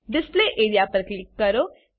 display area પર click કરો